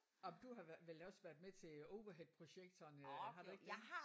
Og du har vel også været med til overheadprojektorerne har du ikke det?